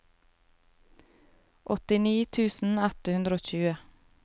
åttini tusen ett hundre og tjue